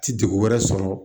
Ti degu wɛrɛ sɔrɔ